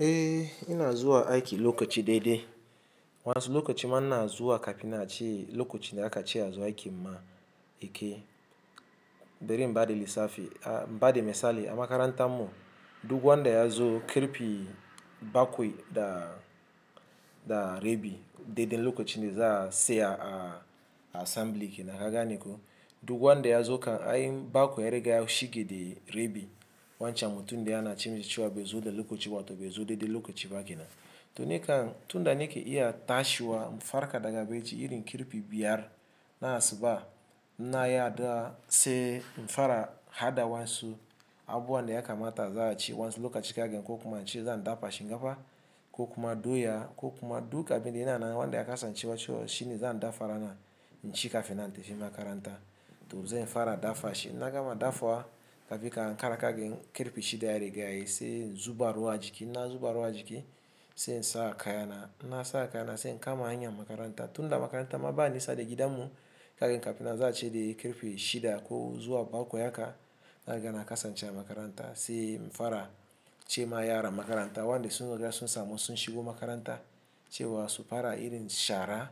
Eh ina zuwa aiki lokaci daidai. Wasu lokaci ma ina zuwa kafin nan ace lokacin da aka ce a zo aiki ma yakei. Bari in ba da lissafi, in ba da misali a makaranta mu, duk wanda ya zo ƙarfe bakwai da, da rabi, dai dai lokacin da za a tsaya a, a assembly kenan ka gane ko. Duk wanda ya zo kan, ai bakwai ya riga ya shige da rebi wancan mutum da yana a cikin cewa bai zo da lokaci ba to bai zo daidai lokaci ba kina. To nikan tunda nake iya tashiwa, farƙa daga bacci irin kirpi biyar na asuba, in na yi addu'a sai in fara hada wansu abun da ya kamata a za a ci wansu lokaci kaga ko kuma an ce zan dafa shi. Kokuma doya kokuma duk abinda yananan wanda ya kasance shine zan dafa ranan inci kafin nan in tafi makaranta to zan fara dafa shi. Inna gama dafawa kafin ka ankara kaga karfe shida ya riga ya yi sai in zuba ruwa a jiki. Na zuba ruwa a jiki sai in sa ka yana. Na saka yana sai in kama hanyar makaranta. Tunda makaranta ma ba nisa daga gidan mu kagin kafin na za ce dai kirpi shida ko zuwa bakwai haka na riga na kasance a makaranta. Sai in fara ce ma yara makaranta wanda sun riga sun samu sun shigo makaranta cewa su fara irin shara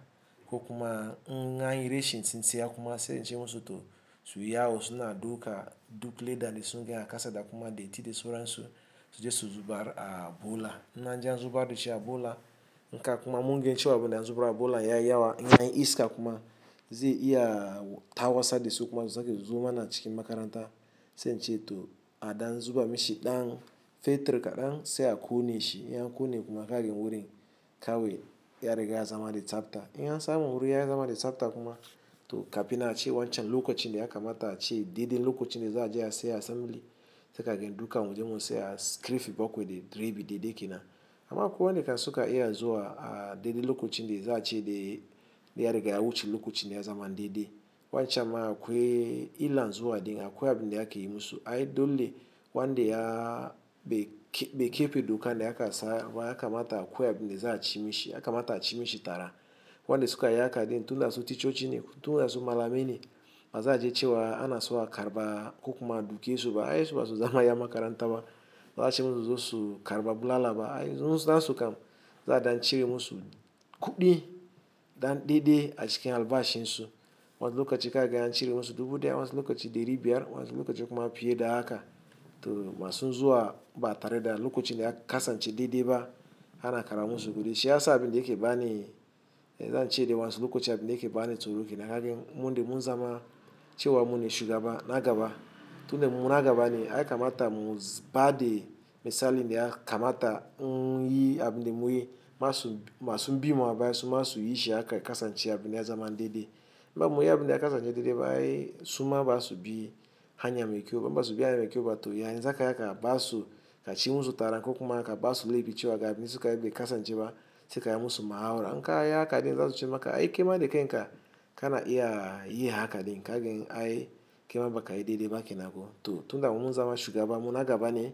ko kuma in anyi rashin tsintsaya kuma sai in ce musu to su yi yawo suna dauka duk ledan da sun ga a kasa da kuma datti da suran su, su je su zubar a bola. In anje an zubar dashi a bola in ka kuma mun gan cewa abun da an zuba a bula ya yi yawa in anyi iska kuma zai iya tarwatsar dasu kuma su sake suzo mana cikin makaranta. Sai in ce to aɗan zuba mishi ɗan fetir kaɗan sai a ƙone shi. In ya ƙone kuma ka gani wurin kawai ya riga ya zama da tsafta. In ya samu wurin ya zama da tsafta kuma to kafin a ce wancan lokacin da ya kamata a ce dai dai lokacin da za a je a saya assembly sai ka gani duka mun je mun saya kirfi, bakwai da rebi dai dai kina. Amma akwai wanda kam suka iya zuwa a dai dai lokacin da za a ce dai ya riga ya wuce lokacin ya zama daidai. Wancan ma akwai illan zuwa din akwai abin da ake yi musu. Ai dole wanda ya, ɓe keɓe duka ne aka sa wa ya kamata akwai abin da za a ci mishi. Ya kamata a ci mishi tara. Wanda suka yi haka din tunda su ci ticoci ne tunda su malamai ne ba za a je cewa ana so a karɓa ko kuma a duke su ba. Ai basu zama 'yan makaranta ba baza ace musu suzo su karba bulala ba ai su nasu kam za a ɗan cire musu kuɗi ɗan daidai a cikin albashin su. Wasu lokaci ka ga an cire musu dubu ɗaya, wansu lokaci ɗari biyar, wansu lokaci kuma fiye da haka. To masu zuwa ba tare da lokacin da aka kasance daidai ba ana karba musu kuɗi. Shi ya sa abin da yake ba ni, eh zan ce dai wansi lokacin da yake ba ni tsoro ke na gani mun dai mun zama cewa mu ne shugaba na gaba. Tunda mu na gaba ne ai kamata mu ba dai misali dai a kamata muyi abin da muyi masu, masu bi mu a baya su ma su yi shi haka ya kasance abin da ya zama daidai. In ba muyi abin da ya kasance daidai ba ai suma ba su bi hanya mai kyau ba in basu bi hanya mu ke kowa to yanzu haka haka ba su ka ci musu tara ko kuma haka ba su leɓi cewa ga abin da suka ɓe kasance ba sai ka yi musu mahaura. In ka yi haka din za su ce maka ai kema da kai in ka, ka na iya yi haka din ka gani ai kema baka yi daidai ba kina ko. To tunda mun zama shugaba mu na gaba ne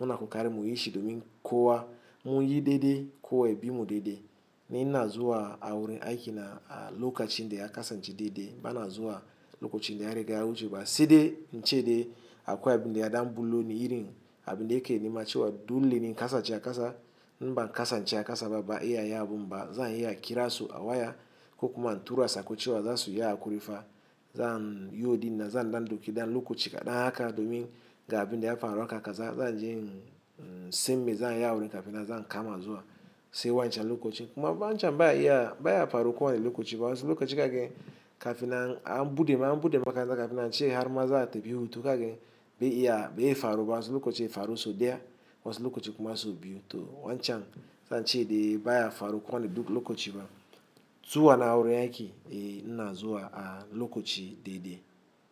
mu na ƙoƙari mu yi shi domin kowa mu yi daidai ko wa ya bi mu daidai. Ni ina zuwa a wurin aiki na a lokacin da ya kasance daidai. Ba na zuwa lokacin da ya riga ya wuce ba sai dai in ce dai akwai abin da ya ɗan bullo ni irin abin da yake nima cewa dole ni in kasance a kasa. In ba in kasance a kasa ba ban iya yin abun ba zan iya ƙira su a waya ko kuma in tura sako cewa za su yi hakuri fa zan yaudinan, zan ɗan ɗauki ɗan lokaci kaɗan haka domin ga abin da ya faru haka ka za, zan je simmi zan yi awuri kafina zan kama zuwa sayi wancan lokacin kuma ba wancan baya iya, baya faruwa wani lokaci ba. Wasu lokaci kagin kafina an buɗe ma, an buɗe maka zanga kafina an ce har ma za ta bi hutu kagin bai iya, bai faru ba. Wasu lokaci ya faru so daiya wansi lokaci kuma so biyu. To wancan zan ce dai baya faruwa wani duk lokaci ba. Zuwa na a wurin aiki dai ina zuwa a lokaci daidai.